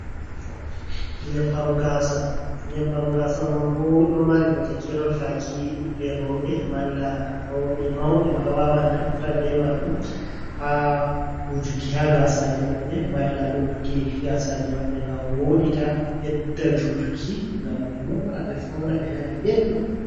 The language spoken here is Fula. Nyebbam Gasa: Nyebbam gasa man bo ɗo mari bote kerol faki ɓiɓɓe roɓe, malla roɓe mauɓe ma wawan naftira be majum ha wujuki ha gasaji maɓɓe, malla lotuki gasaji maɓɓe ngam woɗita, bedda jutuki, ngam ɓe mora, ɓe fauna, ɓe nana belɗum.